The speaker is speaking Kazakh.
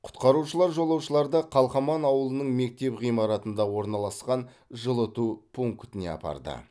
құтқарушылар жолаушыларды қалқаман ауылының мектеп ғимаратында орналасқан жылыту пунктіне апарды